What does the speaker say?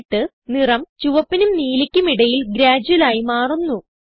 എന്നിട്ട് നിറം ചുവപ്പിനും നീലയ്ക്കും ഇടയിൽ ഗ്രേഡ്യുയൽ ആയി മാറുന്നു